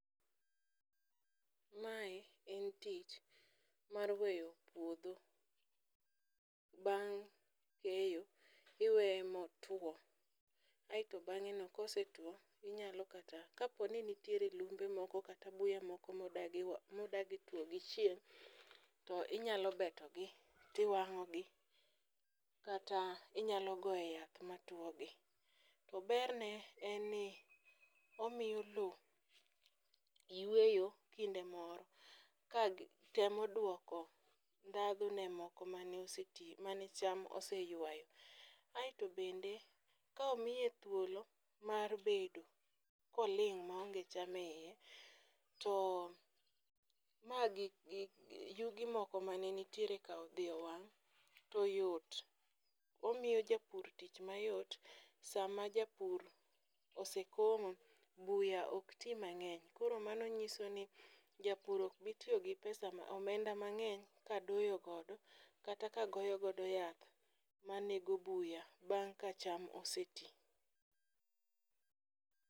Mae en tich mar weyo puodho bang' keyo iweye motwo, aeto bang'e no kose two inyalo kata kaponi nitiere lumbe moko kata buya moko modagi wa modagi tuo gi chieng'. To inyalo beto gi tiwang'o gi, kata inyalo goye yath ma two gi. To berne en ni omiyo lo yweyo kinde moro ka gi temo dwoko ndhadhu ne moko mane oseti mane cham ose ywayo. Aeto bende ka omiye thuolo mar bedo koling' maonge cham e iye, ma gi gik yugi moko mane nitiere ka odhi owang' to yot. Omiyo japur tich mayot sama japur ose komo, buya ok ti mang'eny. Koro mano nyiso ni japur ok bi tiyo gi pesa ma omenda mang'eny ka doyo godo kata ka goyo go yath ma nego buya bang' ka cham ose ti.